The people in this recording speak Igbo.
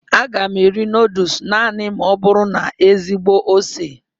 Aga m eri nudulus naanị ma ọ bụrụ na ezigbo ose.